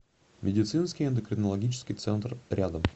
медицинский эндокринологический центр рядом